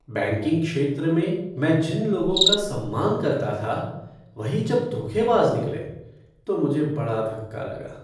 Banking क्षेत्र में मैं जिन लोगों का सम्मान करता था वही जब धोखेबाज निकले तो मुझे बड़ा धक्का लगा।